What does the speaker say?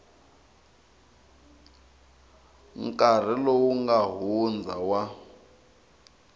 nkarhi lowu nga hundza wa